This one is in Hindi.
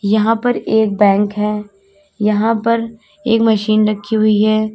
यहां पर एक बैंक है यहां पर एक मशीन रखी हुई है।